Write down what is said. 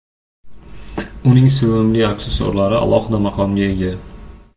Uning sevimli aksessuarlari alohida maqomga ega.